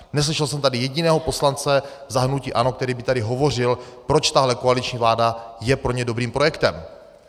Neslyšel jsem tady jediného poslance za hnutí ANO, který by tady hovořil, proč tahle koaliční vláda je pro ně dobrým projektem.